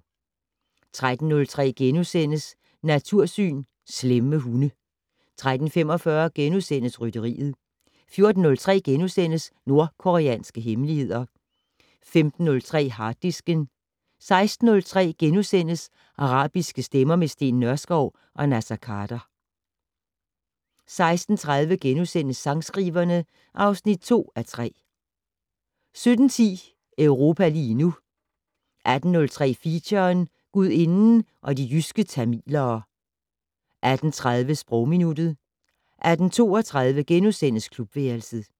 13:03: Natursyn: Slemme hunde * 13:45: Rytteriet * 14:03: Nordkoreanske hemmeligheder * 15:03: Harddisken * 16:03: Arabiske stemmer - med Steen Nørskov og Naser Khader * 16:30: Sangskriverne (2:3)* 17:10: Europa lige nu 18:03: Feature: Gudinden og de jyske tamilere 18:30: Sprogminuttet 18:32: Klubværelset *